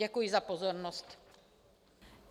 Děkuji za pozornost.